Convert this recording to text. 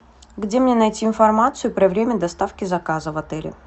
где мне найти информацию про время доставки заказа в отеле